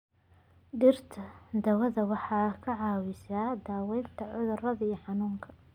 Dhirta daawada waxay ka caawiyaan daaweynta cudurada iyo xanuunka.